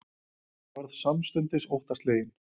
Ég varð samstundis óttaslegin.